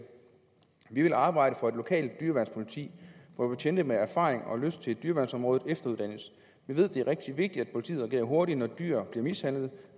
vi vil arbejde for et lokalt dyreværnspoliti hvor betjente med erfaring og lyst til dyreværnsområdet efteruddannes vi ved at det er rigtig vigtigt at politiet reagerer hurtigt når dyr bliver mishandlet